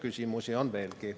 Küsimusi on veelgi.